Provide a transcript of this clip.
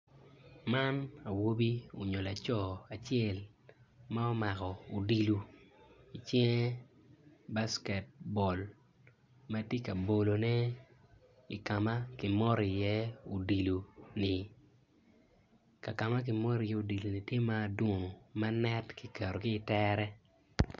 man awobi onyo laco acel ma omako odilu icinge backet bol ma ti kabolone i kama ki moti iye udiloni kakama ki moti iye odiloni ti madunu ma net ki keto ki itere.